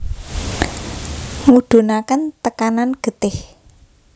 Ngudunake tekanan getih